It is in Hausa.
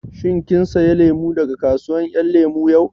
Shin kin saya lemu daga kasuwar ƴan lemu yau?